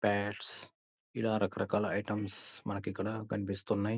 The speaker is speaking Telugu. పాడ్స్ ఇలా రకరకాల ఐటమ్స్ మనకి ఇక్కడ కనిపిస్తున్నాయి.